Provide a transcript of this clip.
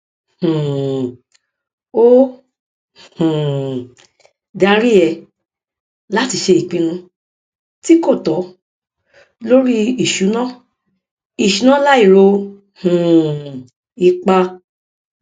um ó um darí ẹ láti ṣe ìpinnu tí kò tọ lórí ìṣúná ìṣúná láì ro um ipa